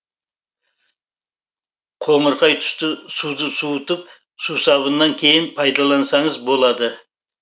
қоңырқай түсті суды суытып сусабыннан кейін пайдалансаңыз болады